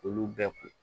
Olu bɛɛ kun